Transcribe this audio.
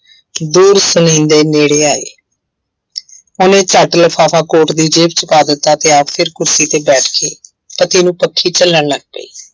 ਦੂਰ ਸੁਣੀਂਦੇ ਨੇੜੇ ਆਏ ਉਹਨੇ ਝੱਟ ਲਿਫ਼ਾਫ਼ਾ ਕੋਟ ਦੀ ਜੇਬ ਵਿੱਚ ਪਾ ਦਿੱਤਾ ਤੇ ਆਪ ਫਿਰ ਕੁਰਸੀ ਤੇ ਬੈਠ ਕੇ ਪਤੀ ਨੂੰ ਪੱਖੀ ਝੱਲਣ ਲੱਗ ਪਈ।